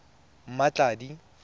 mmatladi